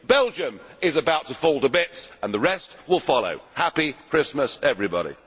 Belgium is about to fall to bits and the rest will follow. Happy Christmas, everybody.